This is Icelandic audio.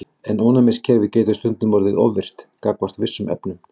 En ónæmiskerfið getur stundum orðið of virkt gagnvart vissum efnum.